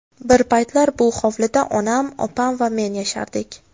Bir paytlar bu hovlida onam, opam va men yashardik.